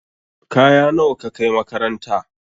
Kaya nawa ka kai makaranta?